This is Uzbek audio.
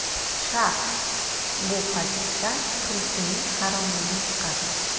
Sharh: Bu hadisdan tulkining haromligi chiqadi.